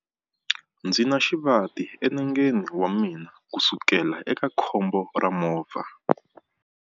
Ndzi na xivati enengeni wa mina kusukela eka khombo ra movha.